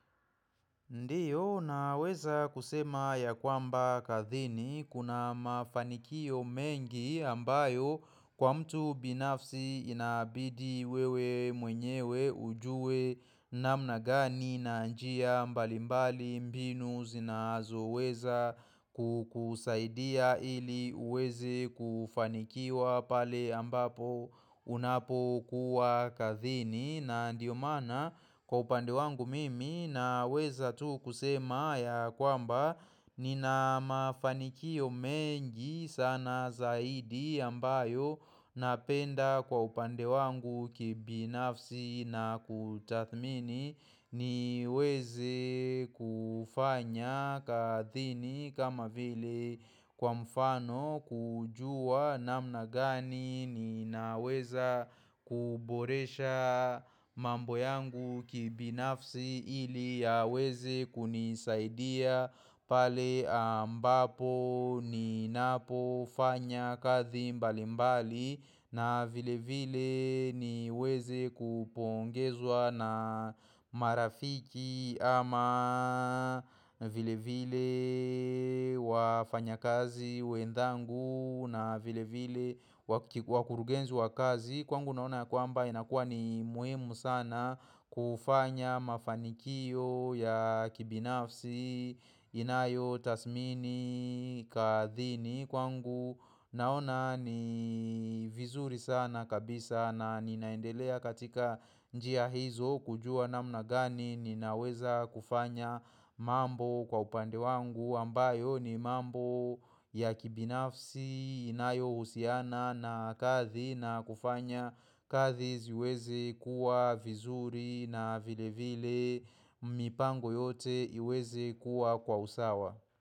Ndiyo na weza kusema ya kwamba kathini kuna mafanikio mengi ambayo kwa mtu binafsi inabidi wewe mwenyewe ujue namna gani na njia mbali mbali mbinu zinazo weza kukusaidia ili weze kufanikiwa pale ambapo unapo kuwa kathini na ndiyo maana kwa upande wangu mimi na weza tu kusema ya kwamba Nina mafanikio mengi sana zaidi ambayo napenda kwa upande wangu kibi nafsi na kutathmini ni weze kufanya kathini kama vile kwa mfano kujua namna gani Ninaweza kuboresha mambo yangu kibinafsi ili yaweze kunisaidia pale ambapo Ninapo fanya kathi mbali mbali na vile vile niweze kupongezwa na marafiki ama vile vile wafanya kazi wendangu na vile vile wakurugenzi wa kazi Kwangu naona kwamba inakua ni muhimu sana kufanya mafanikio ya kibinafsi inayo tasmini kathini kwangu naona ni vizuri sana kabisa na ninaendelea katika njia hizo kujua namna gani ninaweza kufanya mambo kwa upande wangu ambayo ni mambo ya kibinafsi inayo husiana na kathi na kufanya kathi ziwezi kuwa vizuri na vile vile mipango yote iweze kuwa kwa usawa.